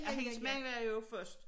Ej hendes mand var jo først